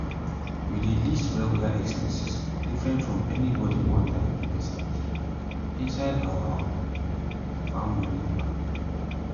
we dey list regular expenses different from anybody one-time investment inside our farm money plan.